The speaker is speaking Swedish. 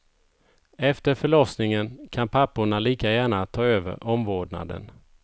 Efter förlossningen kan papporna lika gärna ta över omvårdnaden.